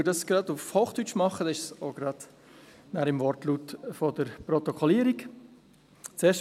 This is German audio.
Dies tue ich gleich auf Hochdeutsch, sodass es dann bereits im Wortlaut der Protokollierung ist.